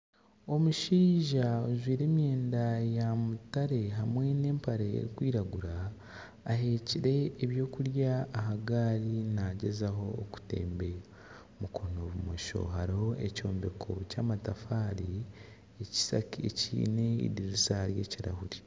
Omushaija ojwire emyenda ya mutare hamwe n'empare erikwiragura ahekyire eby'okurya aha gaari nagyezaho kutembeya. Mukono bumosho hariho ekyombeko ky'amatafari ekiine edirisa ry'ekirahuri.